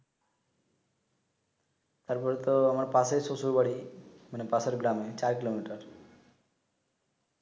তারপরে তো আমার পাশে শ্বশুর বাড়ি মানে পাশের গ্রাম এ চার কিলোমিটার